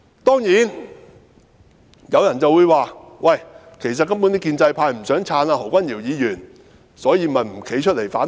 當然，有人會說，其實建制派根本不想"撐"何君堯議員，所以便沒有站出來反對。